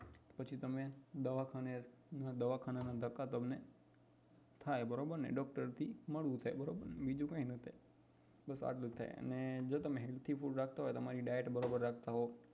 પછી તમે દવાખાને દવાખાના ના ધક્કા તમને થાય ડૉક્ટર થી મળવું થાય બીજું કઈ ના થાય બસ આટલું જ છે જો તમે healthy food રાખતા હોય તમારી diet બરોબર રાખતા હોવ